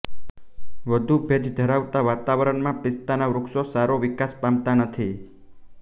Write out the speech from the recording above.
વધુ ભેજ ધરાવતાવાતાવરણમામ્ પિસ્તાના વૃક્ષો સારો વિકાસ પામતા નથી